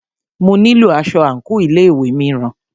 Mo nílo aṣọ àńkò ilé ìwé mìíràn.